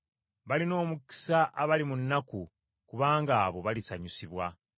Balina omukisa abali mu nnaku, kubanga abo balisanyusibwa.